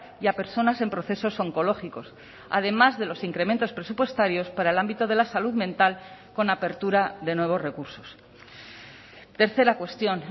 y a personas en procesos oncológicos además de los incrementos presupuestarios para el ámbito de la salud mental con apertura de nuevos recursos tercera cuestión